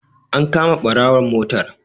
An kama ɓarawon motar.